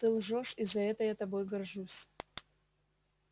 ты лжёшь и за это я тобой горжусь